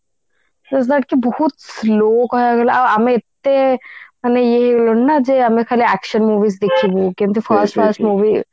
is not କି ବହୁତ slow କହିବା କୁ ଗଲେ ଆଉ ମାନେ ଏତେ ଇଏ ହେଇଗଲୁଣି ଯେ ଆମେ ଖାଲି action movies ଦେଖିବୁ କେମିତି first class movie